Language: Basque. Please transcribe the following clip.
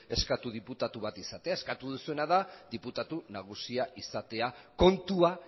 eskatu diputatu bat izatea eskatu duzuena da diputatu nagusia izatea kontua